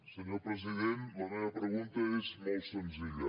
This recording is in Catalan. senyor president la meva pregunta és molt senzilla